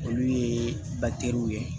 Olu ye ye